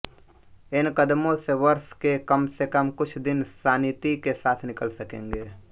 इन कदमों से वर्ष के कम से कम कुछ दिन शानिती के साथ निकल सकेंगे